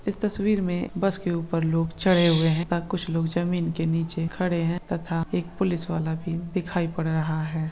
इस तस्वीर में बस के ऊपर लोग चढ़े हुए हैं तथा कुछ लोग जमीन के नीचे खड़े हैं तथा एक पुलिस वाला भी दिखाई पड़ रहा है।